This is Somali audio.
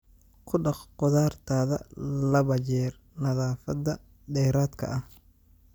Ku dhaq khudaartaada laba jeer nadaafadda dheeraadka ah.